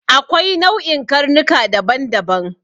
Akwai nau'in karnuka daban-daban.